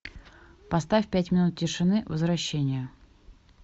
поставь пять минут тишины возвращение